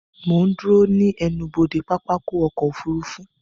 Mo ń dúró ní ẹnubodè pápákọ̀ ọkọ̀ òfurufú